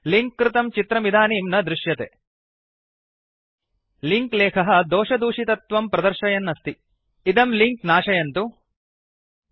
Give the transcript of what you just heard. link कृतं चित्रमिदानीं न दृश्यते लिंक् लेखः दोषदूषितत्वं प्रदर्शयन् वर्तते इदं लिंक् नाशयन्तुडिलीट् कुर्वन्तु